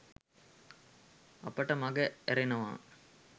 අපිට මග ඇරෙනවා